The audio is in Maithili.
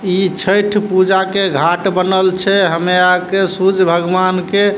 इ छठ पूजा के घाट बनल छै हमे आर के सूरज भगवान के --